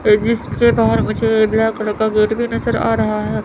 इसके बाहर मुझे कलर का गेट भी नजर आ रहा है।